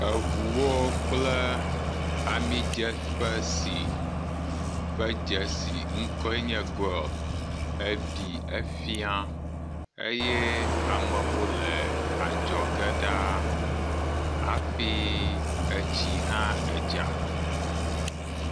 Eŋuwo kple amidzeƒe si ƒe dzesiŋkɔe nye Goil, ebi hefia eye amewo le adzɔge ɖaa afi etsi hã edza.